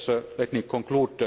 the European Union.